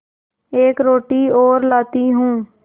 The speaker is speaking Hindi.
एक रोटी और लाती हूँ